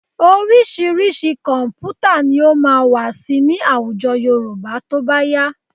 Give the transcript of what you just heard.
Oríṣiríṣi kọ̀m̀pútà ni ó máa wà síi ní àwùjọ Yorùbá tó bá yá